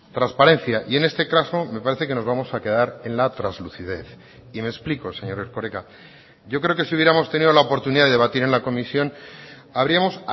transparencia y en este caso me parece que nos vamos a quedar en la traslucidez y me explico señor erkoreka yo creo que si hubiéramos tenido la oportunidad de debatir en la comisión habríamos